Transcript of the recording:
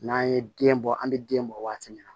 N'an ye den bɔ an bɛ den bɔ waati min na